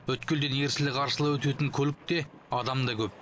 өткелден ерсілі қарсылы өтетін көлік те адам да көп